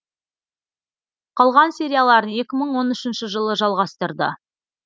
қалған серияларын екі мың он үшінші жылы жалғастырды